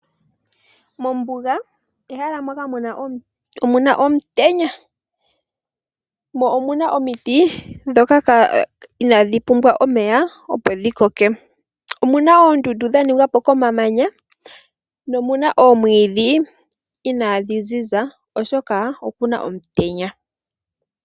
Mombuga omehala moka muna omutenya mo omuna omiti ndhoka inadhi pumbwa omeya opo dhi koke omuna oondundu dhaningwa po komamanya nomuna oomwidhi inadhi ziza oshoka okuna omutenya.